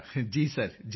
ਮੰਜ਼ੂਰ ਜੀ ਜੀ ਸਰ